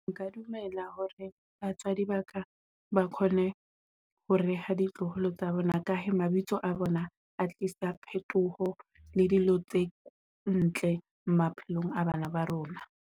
Nka dumela hore batswadi ba ka ba kgone ho reha ditloholo tsa bona ka mabitso a bona, a tlisa phetoho le dilo tse ntle maphelong a bana ba rona.